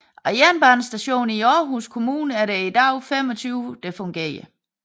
Af Jernbanestationer i Aarhus Kommune er der i dag 25 fungerende